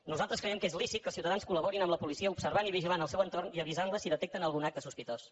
nosaltres creiem que és lícit que els ciutadans col·laborin amb la policia observant i vigilant el seu entorn i avisant la si detecten algun acte sospitós